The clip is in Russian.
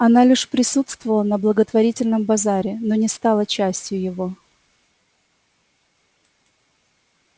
она лишь присутствовала на благотворительном базаре но не стала частью его